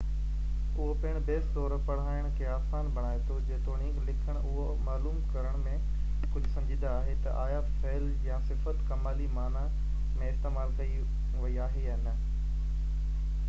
اهو پڻ بحث طور پڙهائي کي آسان بڻائي ٿو جيتوڻيڪ لکڻ اهو معلوم ڪرڻ ۾ ڪجهه سنجيده آهي ته آيا فعل يا صفت ڪمالي معني ۾ استعمال ڪئي وئي آهي يا نه